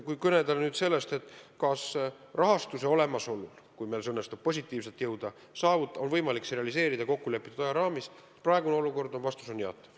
Kui küsida, kas rahastus on olemas, kui meil õnnestub realiseerida plaanid kokkulepitud ajaraamis, siis praeguses olukorras on vastus jaatav.